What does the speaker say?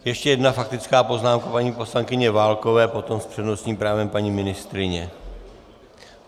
Ještě jedna faktická poznámka paní poslankyně Válkové, potom s přednostním právem paní ministryně.